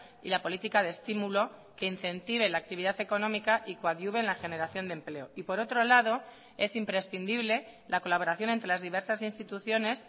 y la política de estímulo que incentive la actividad económica y coadyuve en la generación de empleo y por otro lado es imprescindible la colaboración entre las diversas instituciones